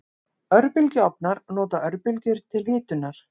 Örbylgjuofnar nota örbylgjur til hitunar.